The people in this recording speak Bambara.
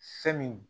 Fɛn min